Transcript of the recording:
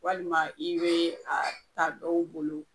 Walima i be a ta dɔw bolo